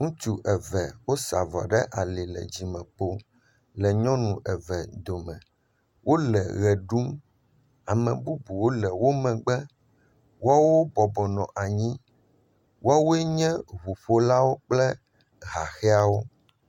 Ŋutsu eve wosa avɔ ɖe ali le dzimekpo le nyɔnu eve dome, wole ʋe ɖum, ame bubuwo le wo megbe, amebubuwo nɔ anyi woaowe nye ŋuƒolawo kple haxeawo.